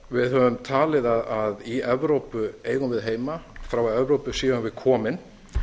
við höfum talið að í evrópu eigum við heima frá evrópu séum við komin